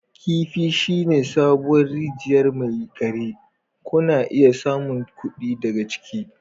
Kifi shine sabuwar rijiyar mai a gari. Kuna iya samun kuɗi daga ciki.